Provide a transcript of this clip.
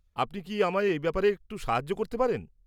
আপনি কি আমায় এই ব্যাপারে সাহায্য করতে পারবেন?